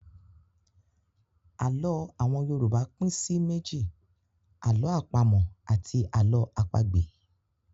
Àlọ́ àwọn Yorùbá pín sí méjì; 'àlọ́ àpamọ̀' àti 'àlọ́ àpagbè'.